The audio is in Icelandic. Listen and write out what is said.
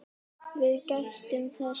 Við gættum þess bæði.